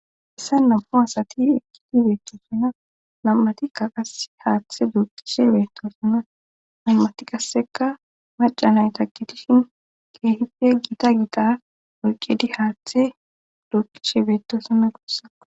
Hessa nam'u asati ekkidi beettosinna nam7atikka qa haaththe duuqishe beetosinna nam7ati qasseka maca nayta qitishin keehife giita gita olqedi haaththe duuqishe beetosina gussa.